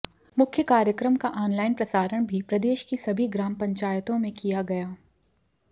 मुख्य कार्यक्रम का आनलाइन प्रसारण भी प्रदेश की सभी ग्राम पंचायतों में किया गया